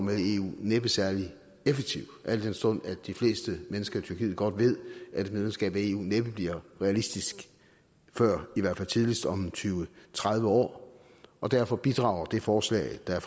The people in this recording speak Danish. med i eu næppe særlig effektiv al den stund at de fleste mennesker i tyrkiet godt ved at et medlemskab af eu næppe bliver realistisk før i hvert fald tidligst om tyve til tredive år derfor bidrager det forslag der er